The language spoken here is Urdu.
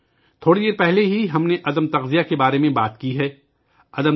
ہم نے تھوڑی دیر پہلے تغذیہ کی قلت کے بارے میں بات کی تھی